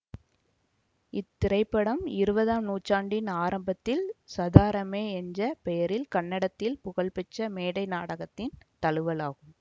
இத்திரைப்படம் இருபதாம் நூற்றாண்டின் ஆரம்பத்தில் சதாரமே என்ற பெயரில் கன்னடத்தில் புகழ் பெற்ற மேடை நாடகத்தின் தழுவல் ஆகும்